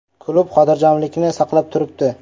Klub xotirjamlikni saqlab turibdi.